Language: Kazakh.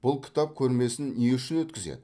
бұл кітап көрмесін не үшін өткізеді